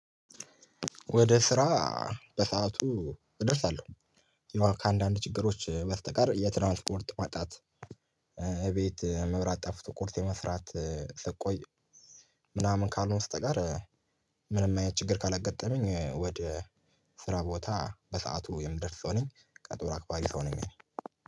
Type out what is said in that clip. ወደ ስራ በሰአቱ እደርስ አለው የሆነ ከአንዳንድ ችግሮች በስተቀር የትራንስፖርት ማጣት። ቤት መብራት ጠፍቶ ቁርስ የመስራት ስትቆይ ምናምን ካልሆነ በስተቀር ምንም አይነት ችግር ካላጋጠመኝ። ወደ ስራ ቦታ በሰአቱ የምደርስ ሰው ነኝ ቀጠሮ አክባሪ ሰው ነኝ እኔ